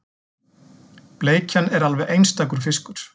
Bleikjan er alveg einstakur fiskur